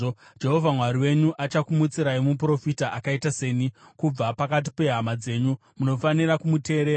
Jehovha Mwari wenyu achakumutsirai muprofita akaita seni kubva pakati pehama dzenyu. Munofanira kumuteerera.